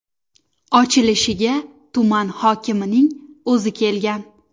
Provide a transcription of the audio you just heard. Ochilishiga tuman hokimining o‘zi kelgan.